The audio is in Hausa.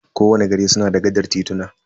Ko wani gari suna da gaɗar tituna.